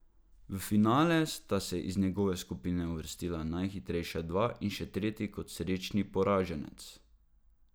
V finale sta se iz njegove skupine uvrstila najhitrejša dva in še tretji kot srečni poraženec.